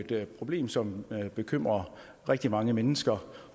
er et problem som bekymrer rigtig mange mennesker